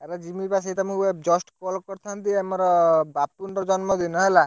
ଆରେ ଯିମିବା ସେଇ ତମକୁ just call କରିଥାନ୍ତି, ଆମର ବାପୁନ୍ ର ଜନ୍ମ ଦିନ ହେଲା।